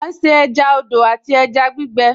À ń se ẹja odò àti ẹja gbígbẹ